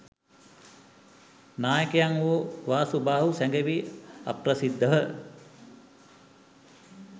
නායකයන් වූ වාසු බාහු සැඟවී අප්‍රසිධව